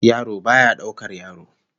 Yaro baya daukar yaro